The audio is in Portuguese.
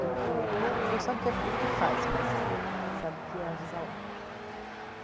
Do que, você não sabe o que faz, mas sabe que é avisa lá.